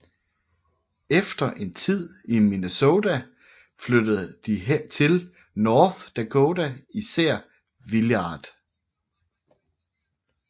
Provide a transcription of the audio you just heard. Efter en tid i Minnesota flyttede de til North Dakota nær Villard